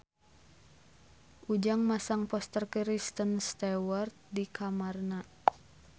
Ujang masang poster Kristen Stewart di kamarna